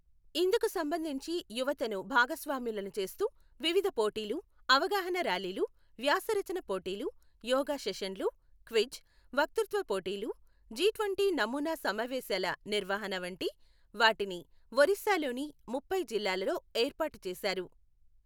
ఇందుకు సంబంధించి యువతను భాగస్వాములను చేస్తూ వివిధ పోటీలు, అవగాహనా ర్యాలీలు, వ్యాసరచన పోటీలు, యోగా సెషన్లు, క్విజ్, వక్లృత్వపోటీలు, జిట్వంటీ నమూనా సమావేశాల నిర్వహణ వంటి వాటిని ఒరిస్సాలోని ముప్పై జిల్లాలలో ఏర్పాటు చేశారు.